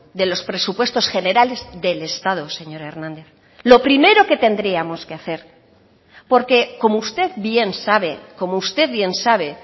de los presupuestos generales del estado señor hernández lo primero que tendríamos que hacer porque como usted bien sabe como usted bien sabe